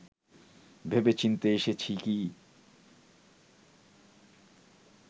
ভেবেচিন্তে এসেছি কি